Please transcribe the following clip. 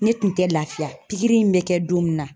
Ne tun tɛ lafiya pikiri in bɛ kɛ don min na